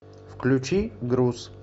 включи груз